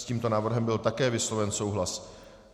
S tímto návrhem byl také vysloven souhlas.